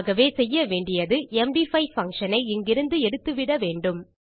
ஆகவே செய்ய வேண்டியது எம்டி5 பங்ஷன் ஐ இங்கிருந்து எடுத்துவிட வேண்டும்